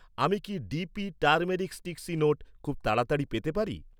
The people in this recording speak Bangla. আমি কি, ডিপি টারমেরিকস্টিক্সি নোট খুব তাড়াতাড়ি পেতে পারি?